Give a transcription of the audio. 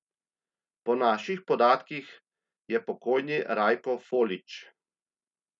Po naših podatkih je pokojni Rajko Folič.